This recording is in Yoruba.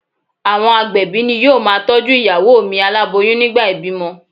Àwọn agbẹ̀bí ni yóò ma tọ́jú ìyàwó mi aláboyún nígbà ìbímọ.